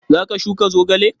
Za ka shuka zogale?